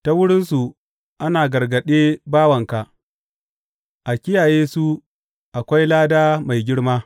Ta wurinsu ana gargaɗe bawanka; a kiyaye su akwai lada mai girma.